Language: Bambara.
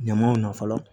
Ɲamaw na fɔlɔ